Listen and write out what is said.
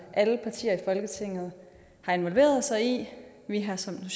alle partier i folketinget har involveret sig i vi har som den